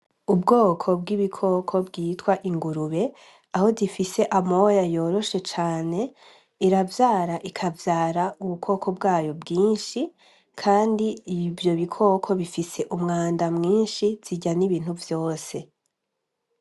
Ubwoko bw'ibikoko bwitwa ingurube aho difise amoya yoroshe cane iravyara ikavyara ubukoko bwayo bwinshi, kandi iivyo bikoko bifise umwanda mwinshi zirya n'ibintu vyose.